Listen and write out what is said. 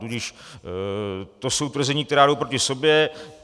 Tudíž to jsou tvrzení, která jdou proti sobě.